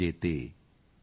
ਕਿਛੁਤੇ ਲੋਕ ਨਾਯ ਸ਼ਾਧੀਨ॥